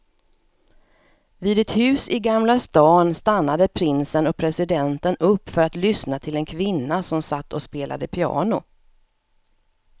Vid ett hus i gamla stan stannade prinsen och presidenten upp för att lyssna till en kvinna som satt och spelade piano.